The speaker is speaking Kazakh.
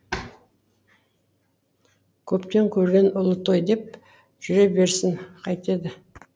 көптен көрген ұлы той деп жүре берсін қайтеді